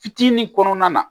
Fitinin kɔnɔna na